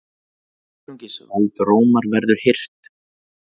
Einungis vald Rómar verður hirt!